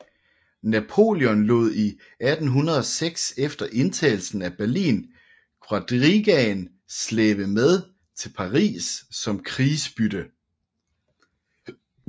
Napoleon lod i 1806 efter indtagelsen af Berlin quadrigaen slæbe med til Paris som krigsbytte